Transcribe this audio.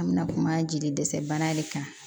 An bɛna kuma jeli dɛsɛ bana de kan